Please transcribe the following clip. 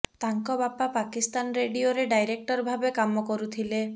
ତାଙ୍କ ବାପା ପାକିସ୍ତାନ ରେଡିଓରେ ଡାଇରେକ୍ଟର ଭାବେ କାମ କରୁଥିଲେ